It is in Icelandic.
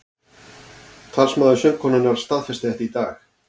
Talsmaður söngkonunnar staðfesti þetta í dag